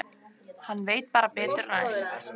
Hann veit bara betur næst.